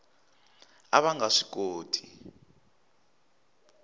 a va nga swi koti